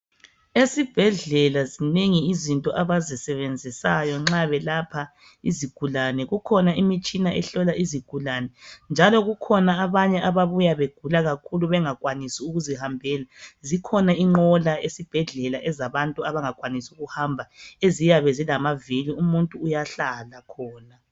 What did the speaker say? Esibhedlela zinengi izinto abazisebenzisayo nxa belapha izigulane. Kukhona imitshina ehlola izigulane. Njalo kukhona abanye ababuya begula kakhulu bengakwanisi ukuzihambela. Zikhona inqola esibhedlela. Ezabantu abangakwanisi ukuhamba eziyabe zilamavili. Umuntu uyahlala khona.